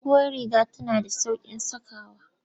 Duguwar riga tana da sauƙin sakawa.